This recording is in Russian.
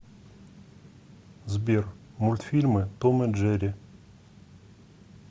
сбер мультфильмы том и джери